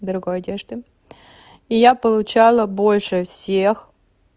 дорогой одежды я получала больше всех